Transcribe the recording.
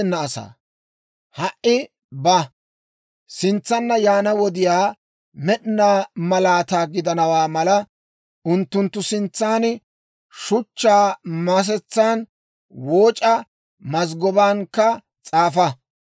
Ha"i ba; sintsanna yaana wodiyaw med'inaa malaataa gidana mala, unttunttu sintsan shuchchaa masetsan wooc'a; mazggobankka s'aafa.